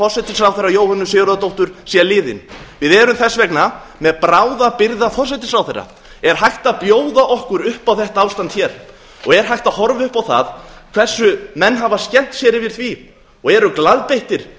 forsætisráðherra jóhönnu sigurðardóttur sé liðinn við erum þess vegna með bráðabirgðaforsætisráðherra er hægt að bjóða okkur upp á þetta ástand hér er hægt að horfa upp á það hversu menn hafa skemmt sér yfir því og eru glaðbeittir